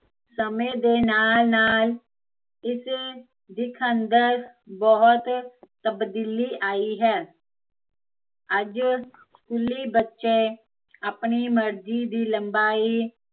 ਸਮੇ ਦੇ ਨਾਲ਼ ਨਾਲ਼ ਇਸੇ ਦਿੱਖ ਅੰਦਰ ਬਹੁਤ ਤਬਦੀਲੀ ਆਈ ਹੈ ਅੱਜ ਸਕੂਲੀ ਬੱਚੇ ਆਪਣੀ ਮਰਜ਼ੀ ਦੀ ਲਬਾਈ